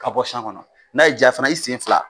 Ka bɔ kɔnɔ. N'a y'i diya fana i sen fila